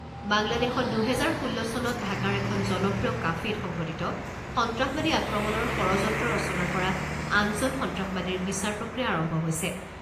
বাংলাদেশত, দুহেজাৰ ষোল্ল চনত ঢাকাৰ এখন জনপ্ৰিয় কাফেত সংঘটিত সন্ত্ৰাসবাদী আক্ৰমণৰ ষড়যন্ত্ৰ ৰচনা কৰা আঠ জন সন্ত্ৰাসবাদীৰ বিচাৰ প্ৰক্ৰিয়া আৰম্ভ হৈছে।